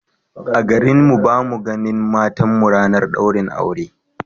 A garin mu ba mu a ganin matan mu ranar daurin aure